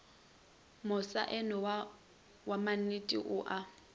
mosaeno wa mannete o a